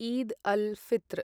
Eid al Fitr